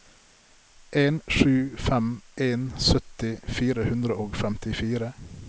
en sju fem en sytti fire hundre og femtifire